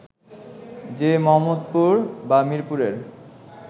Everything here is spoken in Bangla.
যে মোহাম্মদপুর বা মিরপুরের